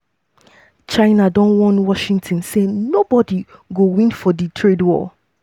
china don warn washington say nobody go win for di trade war.